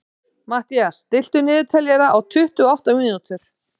Mathías, stilltu niðurteljara á tuttugu og átta mínútur.